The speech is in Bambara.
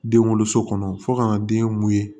Den wolo so kɔnɔ fo ka na den mun ye